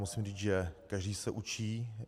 Musím říct, že každý se učí.